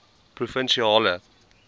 provinsiale